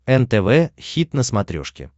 нтв хит на смотрешке